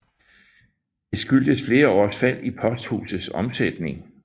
Det skyldtes flere års fald i posthusets omsætning